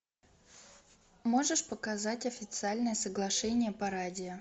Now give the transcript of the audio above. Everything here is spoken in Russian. можешь показать официальное соглашение по радио